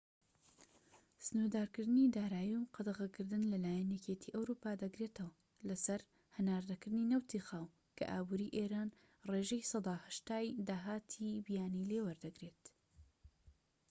سنووردارکردنی دارایی و قەدەغەکردن لە لایەن یەکێتی ئەوروپا دەگرێتەوە لە سەر هەناردەکردنی نەوتی خاو، کە ئابوری ئێران ڕێژەی 80%ی داهاتی بیانی لێ وەدەگرێت